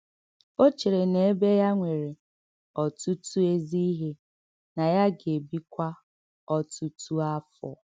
Ò chèrè nà èbè ya nwèrè “ọ̀tùtù ézì íhè,” nà yà gà-èbíkwa “ọ̀tùtù áfọ́.”